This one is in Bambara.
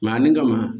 nin kama